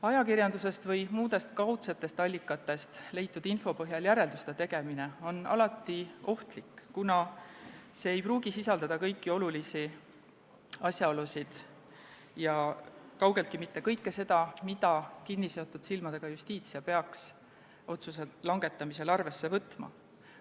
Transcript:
Ajakirjandusest või muudest kaudsetest allikatest leitud info põhjal järelduste tegemine on alati ohtlik, kuna see info ei pruugi sisaldada kõiki olulisi asjaolusid ja kaugeltki mitte kõike seda, mida kinniseotud silmadega Justitia peaks otsuse langetamisel arvesse võtma.